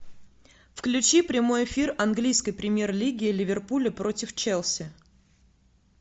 включи прямой эфир английской премьер лиги ливерпуля против челси